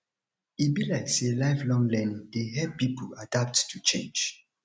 e be like sey lifelong learning dey help pipo adapt to change